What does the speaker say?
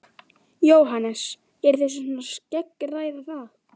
Jóhannes: Eruð þið svona að skeggræða það?